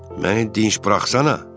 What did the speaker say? Məni dinc buraxsan.